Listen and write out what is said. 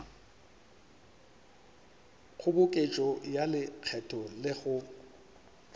kgoboketšo ya lekgetho le go